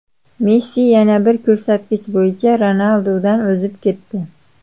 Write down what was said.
Messi yana bir ko‘rsatkich bo‘yicha Ronaldudan o‘zib ketdi.